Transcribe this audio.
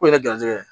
O ye garijɛgɛ ye